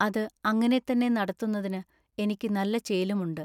അതു അങ്ങിനെ തന്നെ നടത്തുന്നതിനു ഇനിക്ക് നല്ല ചേലുമുണ്ടു.